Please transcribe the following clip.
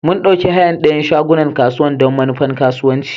Mun ɗauki hayan dayan shagunan kasuwan don manufan kasuwanci.